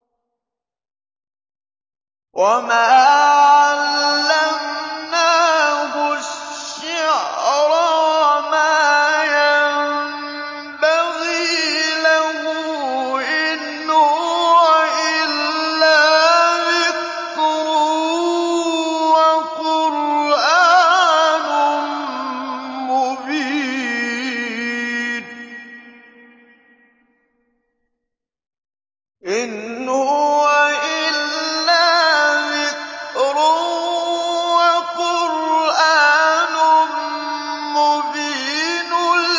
وَمَا عَلَّمْنَاهُ الشِّعْرَ وَمَا يَنبَغِي لَهُ ۚ إِنْ هُوَ إِلَّا ذِكْرٌ وَقُرْآنٌ مُّبِينٌ